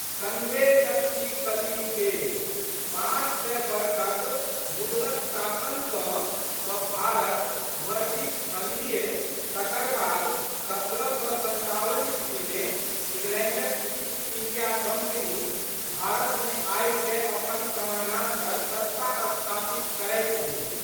संघे शक्ति कलौयुगे। पाँच सय बरखक मुगलक शासन सँ तऽ भारत मर्दित छलहिये तकर बाद सत्रह सए सन्ताबन ईस्वी मे इंगलैंडक इस्ट इंडिया कंपनी भारतमे आबिकए अपन समानान्तर सत्ता स्थापित करैत गेल।